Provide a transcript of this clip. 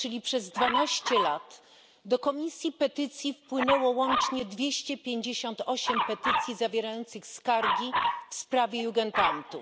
czyli przez 12 lat, do Komisji Petycji wpłynęło łącznie 258 petycji zawierających skargi w sprawie Jugendamtów.